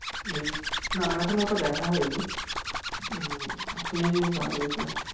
না আমার এখনো ওটা দেখা হয়নি উম শুনেছি খুব ভালো হয়েছে